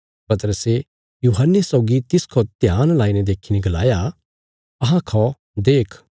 पतरसे यूहन्ने सौगी तिस खौ ध्यान लाईने देखीने गलाया अहां खौ देख